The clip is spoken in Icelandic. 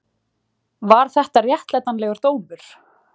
Var þetta réttlætanlegur dómur?